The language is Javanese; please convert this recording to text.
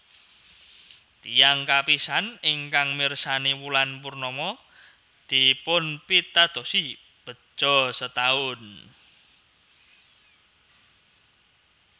Tiyang kapisan ingkang mirsani wulan purnama dipunpitadosi begja setaun